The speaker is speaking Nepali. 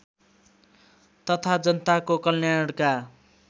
तथा जनताको कल्याणका